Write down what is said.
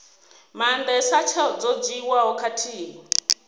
maandesa tsheo dzo dzhiiwaho khathihi